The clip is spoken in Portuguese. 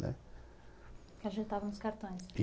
Que ajeitavam os cartões. I